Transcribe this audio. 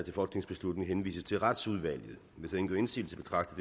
folketingsbeslutning henvises til retsudvalget hvis ingen gør indsigelse betragter